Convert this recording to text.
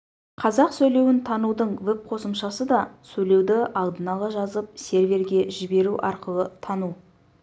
қазақ сөйлеуін танудың веб-қосымшасыда сөйлеуді алдын ала жазып серверге жіберу арқылы тану